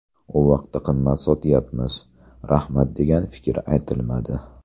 U vaqtda qimmat sotayapmiz, rahmat degan fikr aytilmadi.